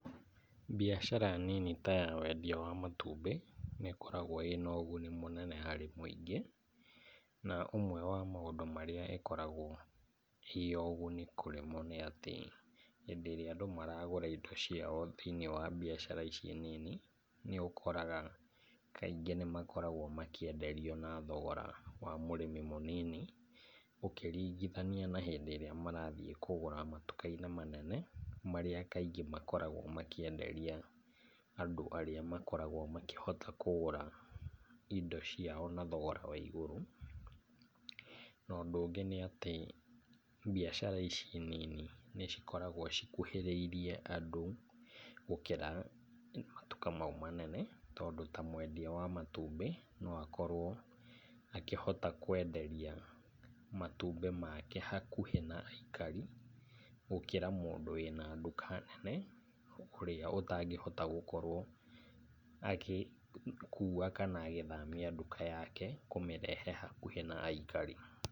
Biacara nini ta yawendia wa matumbĩ, nĩkoragwa ĩna ũguni mũnene harĩ mũingĩ na ũmwe wa maũndũ marĩa ĩkoragwo ĩ ũguni kũrĩ mo nĩatĩ, hĩndĩ ĩrĩa andũ maragũra indo ciao thĩinĩ wa biacara ici nini, nĩũkoraga kaingĩ nĩmakoragwa makĩenderia na thogora wa mũrĩmi mũnini ũkĩringithania na hĩndĩ ĩrĩa marathiĩ kũgũra matukainĩ manene marĩa kaingĩ makoragwo makĩenderia andũ arĩa makoragwo makĩhota kũgũra indo ciao na thogora wa igũrũ, na ũndũ ũngĩ nĩ atĩ biacara ici nini, nĩcikoragwa cikuhĩrĩirie andũ gũkĩra matuka mau manene tondũ ta mwendia wa matumbĩ noakorwo akĩhota kwenderia matumbĩ make hakuhĩ na aikari gũkĩra mũndũ ena nduka nene ũrĩa atangĩhota gũkorwo agĩkuwa kana agĩthamia ndũka yake kũmĩrehe hakuhĩ na aikari.